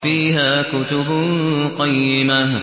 فِيهَا كُتُبٌ قَيِّمَةٌ